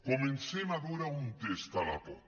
comencem a veure on està la por